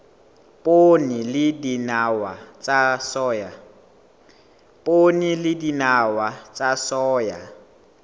poone le dinawa tsa soya